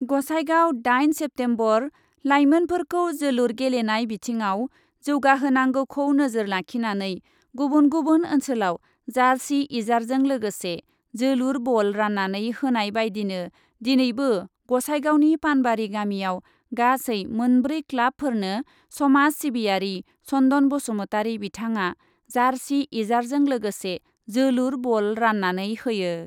गसाइगाव, दाइन सेप्तेम्बर, लाइमोनफोरखौ जोलुर गेलेनाय बिथिङाव जौगाहोनांगौखौ नोजोर लाखिनानै गुबुन गुबुन ओन्सोलाव जार्सि इजारजों लोगोसे जोलुर बल रान्नानै होनाय बायदिनो दिनैबो गसाइगावनि पानबारि गामियाव गासै मोनब्रै क्लाबफोरनो समाज सिबियारि चन्दन बसुमातारि बिथाङा जार्सि इजारजों लोगोसे जोलुर बल रान्नानै होयो।